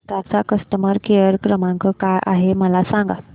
विस्तार चा customer care क्रमांक काय आहे मला सांगा